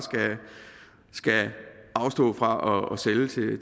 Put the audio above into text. skal afstå fra at sælge